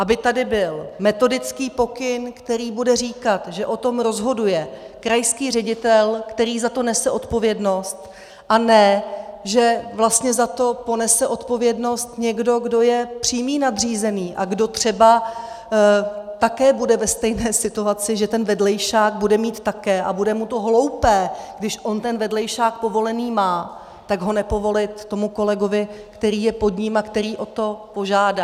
Aby tady byl metodický pokyn, který bude říkat, že o tom rozhoduje krajský ředitel, který za to nese odpovědnost, a ne že vlastně za to ponese odpovědnost někdo, kdo je přímý nadřízený a kdo třeba také bude ve stejné situaci, že ten vedlejšák bude mít také a bude mu to hloupé, když on ten vedlejšák povolený má, tak ho nepovolit tomu kolegovi, který je pod ním a který o to požádá.